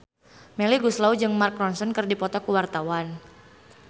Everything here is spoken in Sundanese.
Melly Goeslaw jeung Mark Ronson keur dipoto ku wartawan